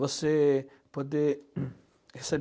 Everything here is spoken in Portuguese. Você poder